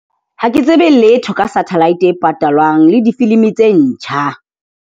Ha ke tsebe letho ka satellite e patalwang le difilimi tse ntjha.